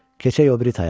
Keçək o biri taya.